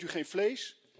Eet u geen vlees?